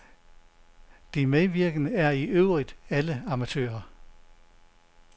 De medvirkende er i øvrigt alle amatører.